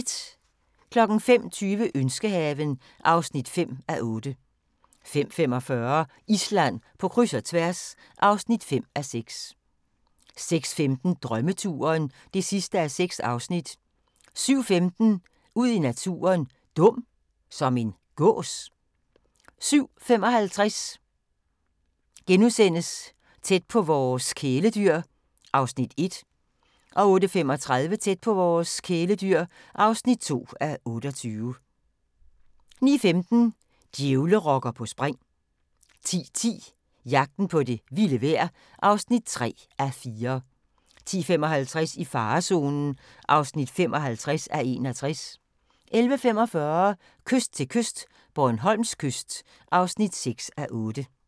05:20: Ønskehaven (5:8) 05:45: Island på kryds og tværs (5:6) 06:15: Drømmeturen (6:6) 07:15: Ud i naturen: Dum – som en gås? 07:55: Tæt på vores kæledyr (1:28)* 08:35: Tæt på vores kæledyr (2:28) 09:15: Djævlerokker på spring 10:10: Jagten på det vilde vejr (3:4) 10:55: I farezonen (55:61) 11:45: Kyst til kyst - Bornholms kyst (6:8)